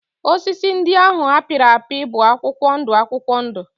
Osisi ndị ahụ a pịrị apị bụ akwụkwọ ndụ akwụkwọ ndụ